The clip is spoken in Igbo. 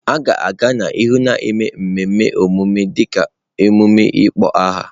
A ga-aga n'ihu na-eme mmemme ọmụmụ dịka emume ịkpọ aha.